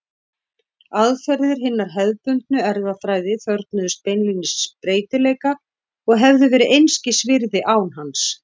Aðferðir hinnar hefðbundnu erfðafræði þörfnuðust beinlínis breytileika og hefðu verið einskis virði án hans.